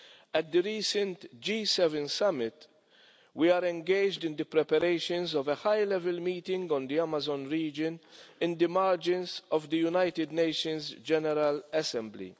At the recent G7 summit, we were engaged in the preparations for a high-level meeting on the Amazon region on the margins of the United Nations General Assembly.